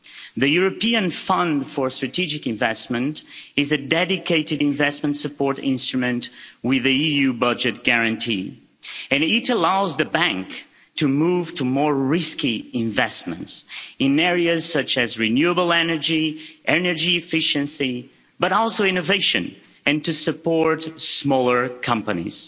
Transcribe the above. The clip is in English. The European Fund for Strategic Investment is a dedicated investment support instrument with an EU budget guarantee, and it allows the Bank to move to more risky investments in areas such as renewable energy, energy efficiency, but also innovation and to support smaller companies.